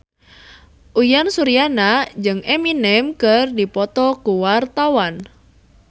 Uyan Suryana jeung Eminem keur dipoto ku wartawan